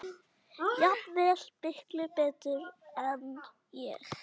Jafnvel miklu betur en ég.